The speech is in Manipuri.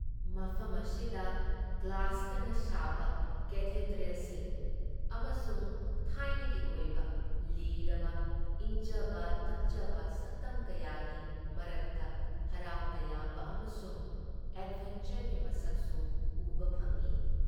ꯃꯐꯝ ꯑꯁꯤꯗ ꯒ꯭ꯂꯥꯁꯇꯅ ꯁꯥꯕ ꯀꯦꯊꯦꯗ꯭ꯔꯦꯜꯁꯤꯡ ꯑꯃꯁꯨꯡ ꯊꯥꯏꯅꯒꯤ ꯑꯣꯏꯕ ꯂꯤꯔꯕ ꯏꯪꯖꯕ ꯇꯞꯆꯕ ꯁꯛꯇꯝ ꯀꯌꯥꯒꯤ ꯃꯔꯛꯇ ꯍꯔꯥꯎ ꯇꯌꯥꯝꯕ ꯑꯃꯁꯨꯡ ꯑꯦꯗꯚꯦꯟꯆꯔꯒꯤ ꯃꯁꯛꯁꯨ ꯎꯕ ꯐꯪꯏ ꯫